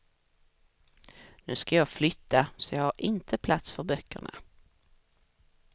Nu ska jag flytta, så jag har inte plats för böckerna.